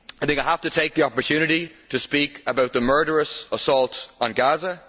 I have to take the opportunity to speak about the murderous assault on Gaza.